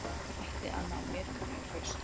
Ætti að ná metinu í haust